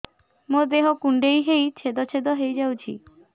ମୋ ଦେହ କୁଣ୍ଡେଇ ହେଇ ଛେଦ ଛେଦ ହେଇ ଯାଉଛି